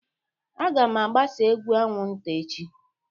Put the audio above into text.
Aga m agbasa egbu anwụnta echi